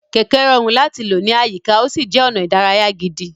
Kẹ̀kẹ́ rọrùn láti lò ní àyíká, ó sì jẹ́ ọ̀nà ìdárayá gidi.